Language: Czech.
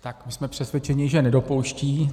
Tak my jsme přesvědčeni, že nedopouští.